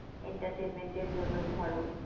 Entertainment এর জন্য ধরো,